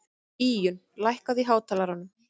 Íunn, lækkaðu í hátalaranum.